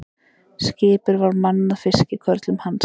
Skipið var mannað fiskikörlum hans.